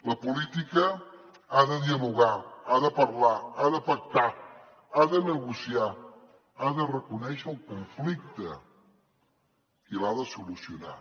la política ha de dialogar ha de parlar ha de pactar ha de negociar ha de reconèixer el conflicte i l’ha de solucionar